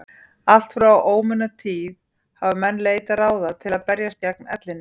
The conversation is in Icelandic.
allt frá ómunatíð hafa menn leitað ráða til að berjast gegn ellinni